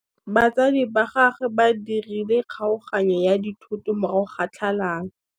Batsadi ba gagwe ba dirile kgaoganyô ya dithoto morago ga tlhalanô.